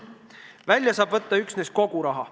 Välja saab võtta üksnes kogu raha.